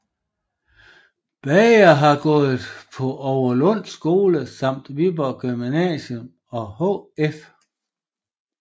Bagger har gået på Overlund Skole samt Viborg Gymnasium og HF